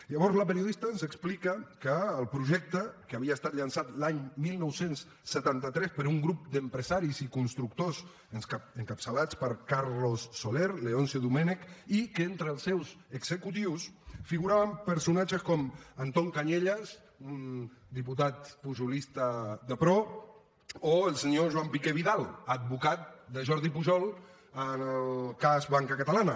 llavors la periodista ens explica que el projecte que havia estat llançat l’any dinou setanta tres per un grup d’empresaris i constructors encapçalats per carlos soler leoncio domènech i que entre els seus executius figuraven personatges com anton cañellas un diputat pujolista de pro o el senyor joan piqué vidal advocat de jordi pujol en el cas banca catalana